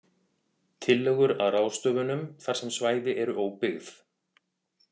Tillögur að ráðstöfunum þar sem svæði eru óbyggð: